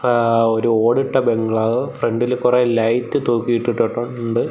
ങ്ആ ഒരു ഓടിട്ട ബംഗ്ലാവ് ഫ്രണ്ടിൽ കുറെ ലൈറ്റ് തൂക്കിയിട്ടിട്ടട്ടുണ്ട്.